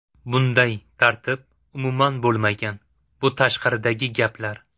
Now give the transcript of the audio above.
Bunday tartib umuman bo‘lmagan, bu tashqaridagi gaplar.